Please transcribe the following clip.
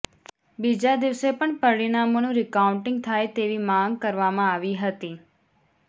બીજા દિવસે પણ પરિણામોનું રીકાઉન્ટીંગ થાય તેવી માંગ કરવામાં આવી હતી